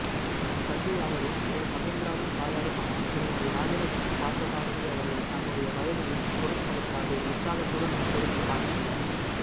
கல்வியாளரும் திரு மகேந்திராவின் தாயாருமான திருமதி ராஜலட்சுமி பார்த்தசாரதி அவர்கள் தன்னுடைய வயதையும் பொருட்படுத்தாது உற்சாகத்துடன் வந்திருந்த காட்சி